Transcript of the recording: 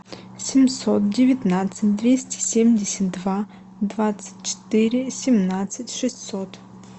семьсот девятнадцать двести семьдесят два двадцать четыре семнадцать шестьсот